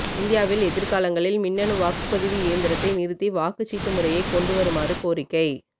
இந்தியாவில் எதிர் காலங்களில் மின்னணு வாக்குபதிவு இயந்திரத்தை நிறுத்தி வாக்குச் சீட்டு முறையை கொண்டு வருமாறு கோரிக்கை